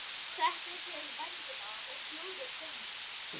Settu á þig vængina og fljúgðu til mín.